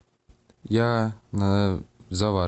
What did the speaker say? я на завар